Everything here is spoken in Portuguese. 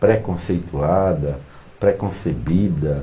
Pré-conceituada, pré-concebida.